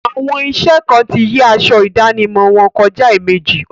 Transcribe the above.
Àwọn iṣẹ kan ti yí aṣọ ìdánimọ̀ wọn kọjá èèmejì.